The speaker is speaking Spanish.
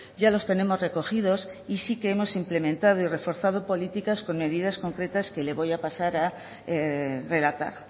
ya los tenemos recogidos y sí que hemos implementado y reforzado políticas con medidas concretas que le voy a pasar a relatar